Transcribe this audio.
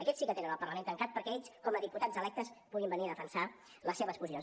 aquests sí que tenen el parlament tancat perquè ells com a diputats electes puguin venir a defensar les seves posicions